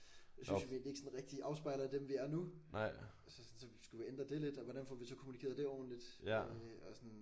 Det synes jeg vi ikke sådan rigtigt afspejler dem vi er nu. Så sådan skulle vi ændre det lidt og hvordan får vi så kommunikeret det ordenligt? Øh og sådan